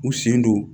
U sen don